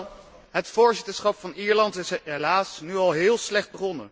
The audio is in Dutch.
Het voorzitterschap van Ierland is helaas nu al heel slecht begonnen.